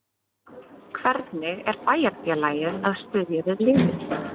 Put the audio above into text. Hvernig er bæjarfélagið að styðja við liðið?